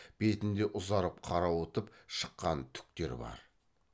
бетінде ұзарып қарауытып шыққан түктер бар